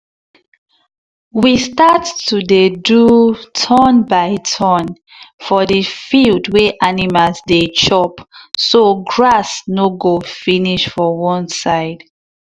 we start to dey do turn by turn for the field wey animal dey chop so grass no go finish for one side.